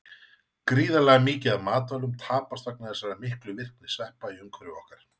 Gríðarlega mikið af matvælum tapast vegna þessara miklu virkni sveppa í umhverfi okkar.